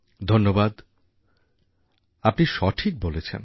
ধন্যবাদ আপনি সঠিক বলেছেন